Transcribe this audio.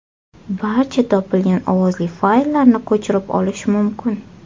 Barcha topilgan ovozli fayllarni ko‘chirib olish mumkin.